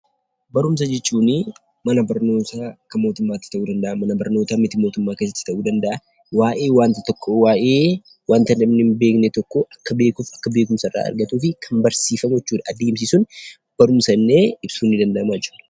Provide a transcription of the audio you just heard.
Barumsa jechuun mana barumsaa kan mootummaati ta'uu danda'a, mana barnootaa miti mootummaa ta'uu danda'a, waa'ee waanta tokkoo, waa'ee waanta namni hin beekne tokkoo akka beekuu fi akka beekumsa irraa argatuuf kan barsiifamu jechuudha. Adeemsi sun barumsa jennee ibsuun ni danda'ama jechuudha.